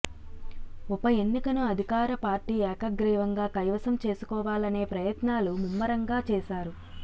ఉప ఎన్నికను అధికార పార్టీ ఏకగ్రీవంగా కైవసం చేసుకోవాలనే ప్రయత్నాలు ముమ్మరంగా చేశారు